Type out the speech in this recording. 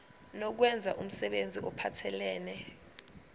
nokwenza umsebenzi ophathelene